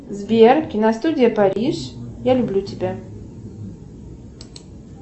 сбер киностудия париж я люблю тебя